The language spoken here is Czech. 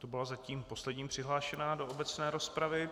To byla zatím poslední přihlášená do obecné rozpravy.